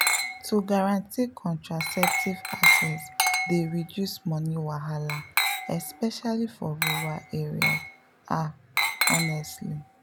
to guarantee contraceptive access dey reduce money wahala especially for rural areas ah honestly.